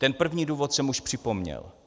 Ten první důvod jsem už připomněl.